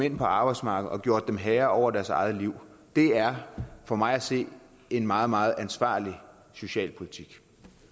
ind på arbejdsmarkedet og gjort dem til herre over deres eget liv det er for mig at se en meget meget ansvarlig socialpolitik